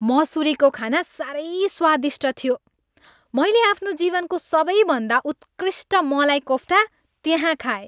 मसुरीको खाना साह्रै स्वादिष्ट थियो। मैले आफ्नो जीवनको सबैभन्दा उत्कृष्ट मलाई कोफ्टा त्यहाँ खाएँ।